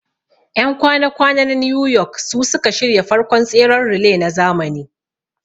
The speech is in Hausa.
Ƴan kwana kwana na New York suka shirya farkon tseren relay na zamani